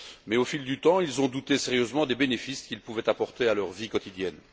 Mais, au fil du temps, ils ont douté sérieusement des bénéfices qu'il pouvait apporter à leur vie quotidienne.